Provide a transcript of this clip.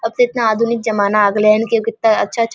अब तो इतना आधुनिक जमाना आ गेलइ हन की कितना अच्छा-अच्छा --